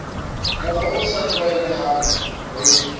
mokgwa o sa tlwaelehang re